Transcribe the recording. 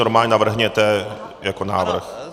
Normálně navrhněte jako návrh.